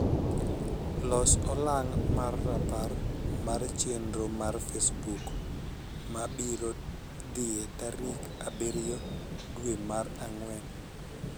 Los olang mar rapar mar chenr mar facebook ma abiro dhie tarik abirio dwe mar agwen